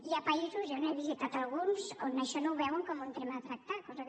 hi ha països jo n’he visitat alguns on això ho no veuen com un tema a tractar cosa que